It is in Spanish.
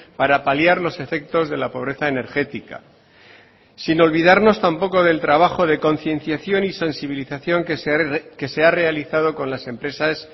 para paliar los efectos de la pobreza energética sin olvidarnos tampoco del trabajo de concienciación y sensibilización que se ha realizado con las empresas